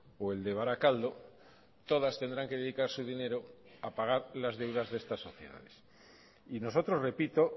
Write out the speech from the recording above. o el de barakaldo todas tendrán que dedicar su dinero a pagar las deudas de estas sociedades y nosotros repito